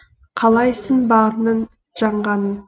қалайсың бағыңның жанғанын